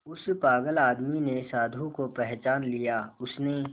उस पागल आदमी ने साधु को पहचान लिया उसने